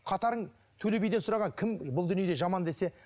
қатарың төле биден сұраған кім бұл дүниеде жаман десе